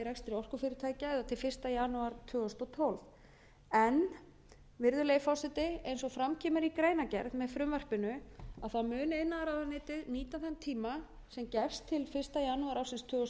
orkufyrirtækja eða til fyrsta janúar tvö þúsund og tólf virðulegi forseti eins og fram kemur í greinargerð með frumvarpinu mun iðnaðarráðuneytið nýta þann tíma sem gefst til fyrsta janúar ársins tvö þúsund